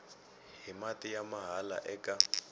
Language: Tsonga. hi mati ya mahala eka